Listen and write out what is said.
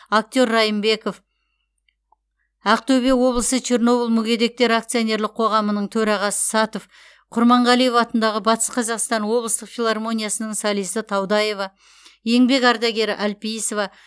актер райынбеков ақтөбе облысы чернобыль мүгедектері акционерлік қоғамы төрағасы сатов құрманғалиев атындағы батыс қазақстан облыстық филармониясының солисі таудаева еңбек ардагері әлпейісова